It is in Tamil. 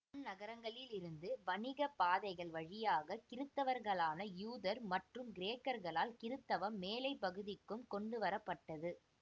அந்நகரங்களிலிருந்து வணிக பாதைகள் வழியாக கிறித்தவர்களான யூதர் மற்றும் கிரேக்கர்களால் கிறித்தவம் மேலைப் பகுதிக்கும் கொண்டுவர பட்டது